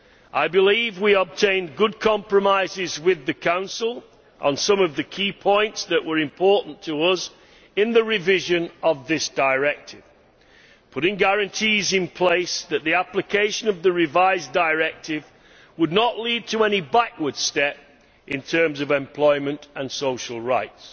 I believe we obtained good compromises with the Council on some of the key points that were important to us in the revision of this directive, putting guarantees in place that the application of the revised directive would not result in any backward step in terms of employment and social rights,